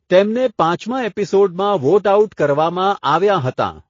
તેમને પાંચમા એપિસોડમાં વોટ આઉટ કરવામાં આવ્યાં હતાં.